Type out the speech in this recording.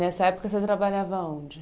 Nessa época você trabalhava onde?